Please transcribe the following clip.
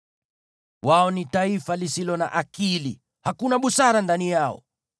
Wao ni taifa lisilo na akili, hakuna busara ndani yao.